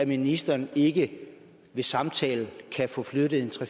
ministeren ikke ved samtale kan få flyttet tre